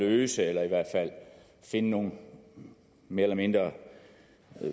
at løse eller i hvert fald finde nogle mere eller mindre